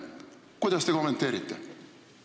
Kuidas te kommenteerite?